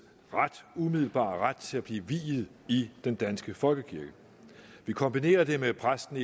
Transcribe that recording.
umiddelbare ret til at blive viet i den danske folkekirke vi kombinerer det med at præster